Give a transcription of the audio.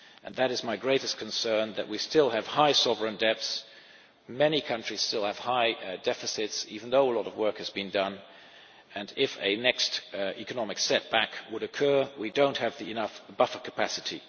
again. That is my greatest concern that we still have high sovereign debts, many countries still have high deficits, even though a lot of work has been done, and if a new economic setback were to occur, we do not have enough buffer capacity.